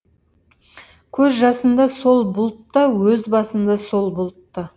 көз жасымда сол бұлтта өз басым да сол бұлтта